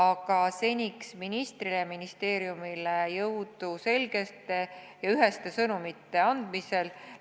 Aga seniks soovin ministrile ja ministeeriumile jõudu selgete ja üheste sõnumite andmisel!